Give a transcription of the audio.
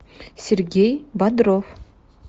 сергей бодров